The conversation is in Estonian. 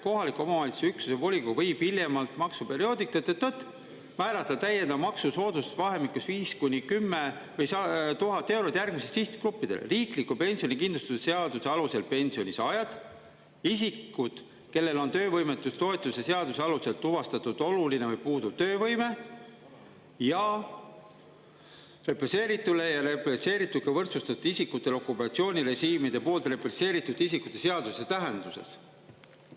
Kohaliku omavalitsuse üksuse volikogu võib hiljemalt maksuperioodi …… määrata täiendav maksusoodustus vahemikus viis kuni kümme, tuhat eurot järgmistele sihtgruppidele: riikliku pensionikindlustuse seaduse alusel pensioni saajad, isikud, kellel on töövõimetustoetuse seaduse alusel tuvastatud oluline või puuduv töövõime ja represseeritule ja represseerituga võrdsustatud isikutele okupatsioonirežiimide poolt represseeritud isikute seaduse tähenduses.